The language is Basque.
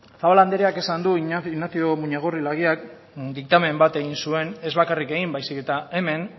zabala andreak esan du ignacio muñagorri laguíak diktamen bat egin zuen ez bakarrik egin baizik eta hemen